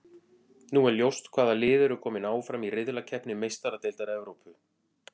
Nú er ljóst hvaða lið eru kominn áfram í riðlakeppni Meistaradeildar Evrópu.